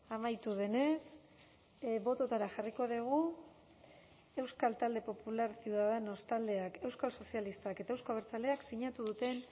amaitu denez bototara jarriko dugu euskal talde popular ciudadanos taldeak euskal sozialistak eta euzko abertzaleak sinatu duten